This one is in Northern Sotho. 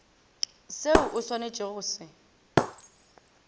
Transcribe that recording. seo o swanetšego go se